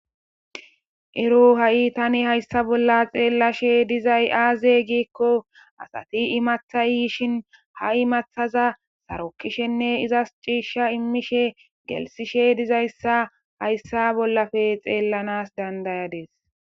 Ero ha'i tani hayssa bolla xeellashe dizay aaze giikko asati imathay yishin ha imathaza sarokishenne izas ciishsha immishe gelsishe dizayssa hayssa bollafe xeellanas dandayadis